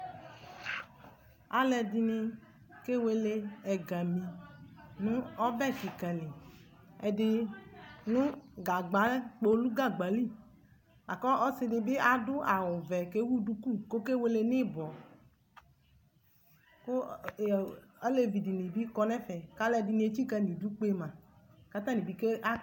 Aluɛɖini, kewele ɛgami nʋ ɔbɛ kikaliƐɖini nu gagba kpolu gagbaliKu ɔsiɖini bi aɖʋ awuvɛ kɛwu duku kɔkewele ni ibɔ ku alevidini bi kɔ nɛfɛ kaluɛɖini tsika nʋ iɖʋ kpe ma